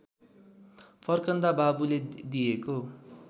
फर्कँदा बाबुले दिएको